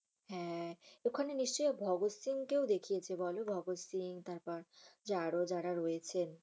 হ্যাঁ। ওখানে নিশ্চয় ভগৎ সিংকেও দেখিয়েছে বল? ভগৎ সিং তারপর আরও যারা রয়েছেন।